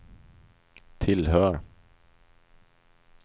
tillhör